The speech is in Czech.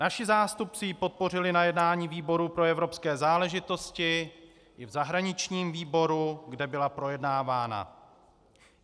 Naši zástupci ji podpořili na jednání výboru pro evropské záležitosti i v zahraničním výboru, kde byla projednávána.